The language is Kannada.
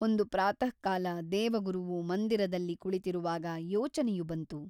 ಒಂದು ಪ್ರಾತಃಕಾಲ ದೇವಗುರುವು ಮಂದಿರದಲ್ಲಿ ಕುಳಿತಿರುವಾಗ ಯೋಚನೆಯು ಬಂತು.